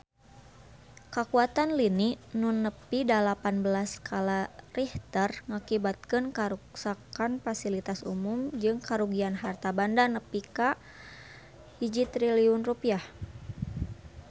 Kakuatan lini nu nepi dalapan belas skala Richter ngakibatkeun karuksakan pasilitas umum jeung karugian harta banda nepi ka 1 triliun rupiah